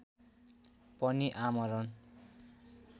पनि आमरण